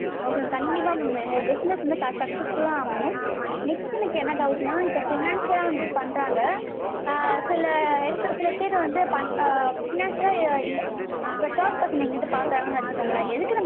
okay mam கண்டிப்பா mam உங்க business வந்து successul லா அமையும். next எனக்கு என்ன doubt னா இப்ப finance லா வந்து பண்றாங்க. அஹ் சில எடத்துல அஹ் finance ல இப்ப third person என்கிட்ட காசு வாங்குறாங்கனு வச்சிக்கோங்களே எதுக்கு நம்ம